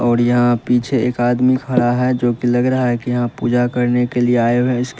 और यहां पीछे एक आदमी खड़ा है जो कि लग रहा है कि यहां पूजा करने के लिए आए हुए हैं इसके--